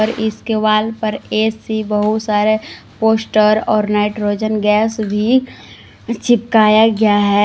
और इसके वॉल पर ए_सी बहुत सारे पोस्टर और नाइट्रोजन गैस भी चिपकाया गया है।